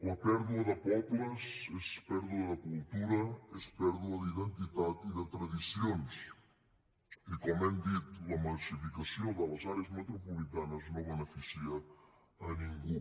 la pèrdua de pobles és pèrdua de cultura és pèrdua d’identitat i de tradicions i com hem dit la massificació de les àrees metropolitanes no beneficia ningú